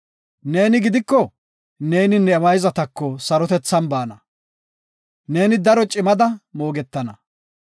Nena gidiko, neeni ne mayzatako sarotethan baana. Neeni daro cimada moogetana.